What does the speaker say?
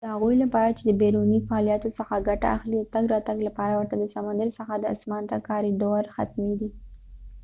د هغوي لپاره چې بیرونی فعالیتونوڅخه ګټه اخلی د تګ را تګ لپاره ورته د سمندر څخه د اسمان ته کاریدور حتمی دي